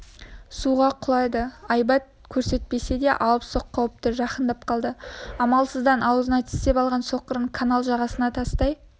суға құлайды айбат көрсетпесе алыпсоқ қауіпті жақындап қалды амалсыздан аузына тістеп алған соқырын канал жағасына тастай